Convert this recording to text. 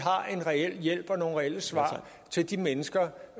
en reel hjælp og nogle reelle svar til de mennesker